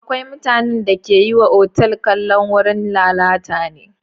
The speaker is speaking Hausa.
Akwai mutanen da ke wa otal kallon wurin lalata ne.